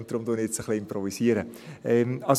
Deshalb improvisiere ich jetzt ein bisschen.